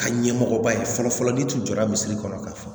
Ka ɲɛmɔgɔba ye fɔlɔ fɔlɔ n'i tun jɔra misiri kɔnɔ ka fɔ